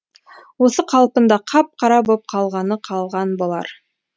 осы қалпында қап қара боп қалғаны қалған болар